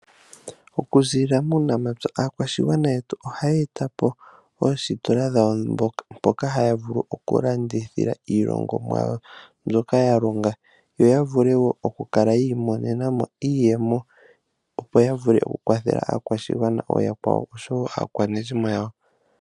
Okuzilila muunamapya aanafalama oha yeya po noositola ndhoka haalanditha iilongomwa yawo yomomapya, opo yiimonenemo iiyemo yo yavule okukwathela aakwashigwana aakwawo nosho woo aakwanezimo yawo.